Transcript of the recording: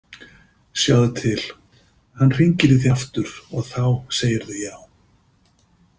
Sjáðu til, hann hringir í þig aftur og þá segirðu já.